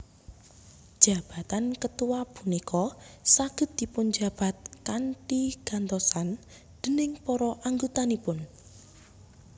Jabatan ketua punika saged dipunjabat kanthi gantosan déning para anggotanipun